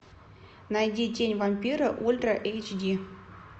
найди тень вампира ультра эйч ди